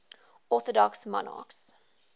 orthodox monarchs